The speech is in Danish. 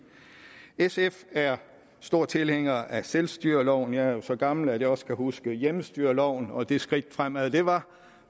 sf er stor tilhænger af selvstyreloven jeg er jo så gammel at jeg også kan huske hjemmestyreloven og det skridt fremad den var